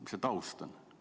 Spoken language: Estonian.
Mis see taust on?